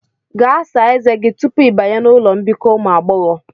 Gaa sáá ezé gi tupu i banye n'ụlọ mbikọ ụmụ agbọghọ